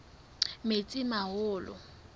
metsimaholo